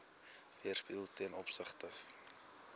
weerspieël ten opsigte